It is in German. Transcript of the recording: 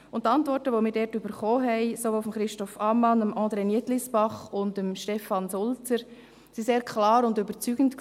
Die Antworten, welche wir sowohl von Christoph Ammann, André Nietlisbach als auch von Stefan Sulzer erhielten, waren sehr klar und überzeugend.